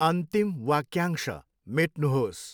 अन्तिम वाक्यांश मेट्नुहोस्।